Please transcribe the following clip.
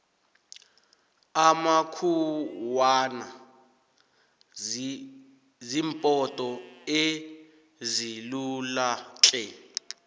amakhuwana zimpoto ezilulatle